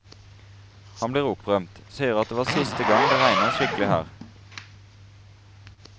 Han blir opprømt, sier at det var siste gang det regnet skikkelig her.